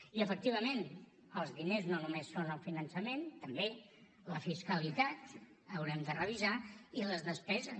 i efectivament els diners no només són el finançament també la fiscalitat l’haurem de revisar i les despeses